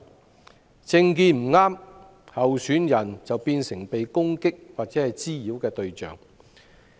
假如政見不合，候選人便會成為被攻擊或滋擾的對象。